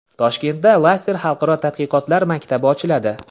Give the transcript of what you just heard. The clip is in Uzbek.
Toshkentda Lester xalqaro tadqiqotlar maktabi ochiladi.